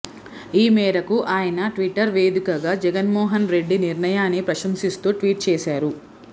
ఈ మేరకు ఆయన ట్విట్టర్ వేదికగా జగన్ మోహన్ రెడ్డి నిర్ణయాన్ని ప్రశంసిస్తూ ట్వీట్ చేసారు